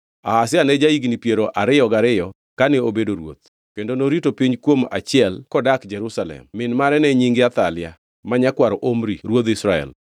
Ahazia ne ja-higni piero ariyo gariyo kane obedo ruoth, kendo norito piny kuom achiel kodak Jerusalem. Min mare ne nyinge Athalia, ma nyakwar Omri ruodh Israel.